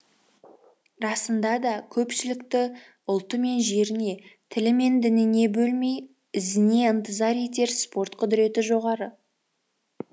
расында да көпшілікті ұлты мен жеріне тілі мен дініне бөлмей өзіне ынтызар етер спорт құдіреті жоғары